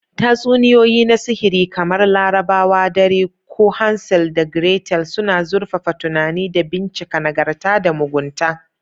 Tatsuniyoyi na Sihiri, kamar Larabawa Dare ko Hansel da Gretel, suna zurfafa tunani da bincika nagarta da mugunta.